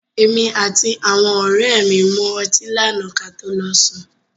Èmi àti àwọn ọ̀rẹ́ mi mu ọti lànáà kí a to lọ sùn.